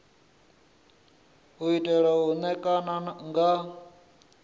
u tea u ṋekana nga